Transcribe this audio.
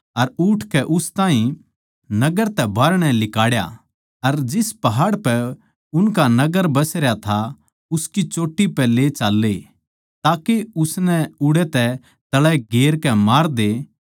अर उठकै उस ताहीं नगर तै बाहरणै लिकाड़या अर जिस पहाड़ पै उनका नगर बसरया था उसकी चोट्टी पै ले चाल्ले ताके उसनै उड़ै तै तळै गेरकै मार दें